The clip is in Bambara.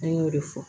An y'o de fɔ